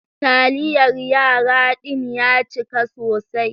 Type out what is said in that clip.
Taliyar yara din ya cika sosai.